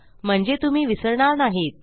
म्हणजे तुम्ही विसरणार नाहीत